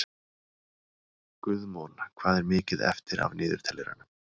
Guðmon, hvað er mikið eftir af niðurteljaranum?